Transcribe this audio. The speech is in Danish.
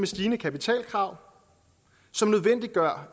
stigende kapitalkrav som nødvendiggør